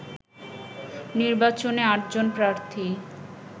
নির্বাচনে আটজন প্রার্থী